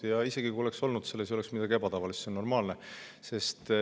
Aga isegi kui oleks olnud, ei oleks selles midagi ebatavalist, see on normaalne.